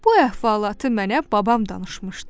Bu əhvalatı mənə babam danışmışdı.